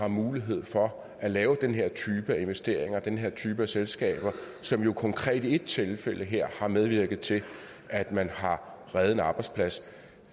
mulighed for at lave den her type af investeringer den her type af selskaber som jo konkret i ét tilfælde her har medvirket til at man har reddet en arbejdsplads